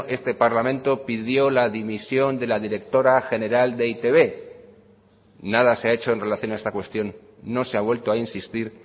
este parlamento pidió la dimisión de la directora general de e i te be nada se ha hecho en relación a esta cuestión no se ha vuelto a insistir